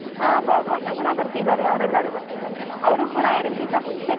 ಹಾ ಬಾಬು ಅಣ್ಣಾ ಕೂಡಾ ಬರ್ತಿದಾರೆ ಅವ್ರ ಎಲ್ಲಾರು ಬರ್ತಿದಾರೆ ಅವ್ರು ಕೂಡಾ ಎರ್ಡ್ ದಿವ್ಸ ಮುಂಚೆನೆ.